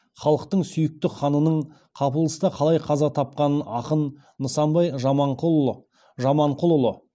халықтың сүйікті ханының қапылыста қалай қаза тапқанын ақын нысанбай жаманқұлұлы